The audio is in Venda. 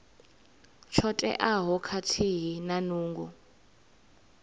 tsho teaho khathihi na nungo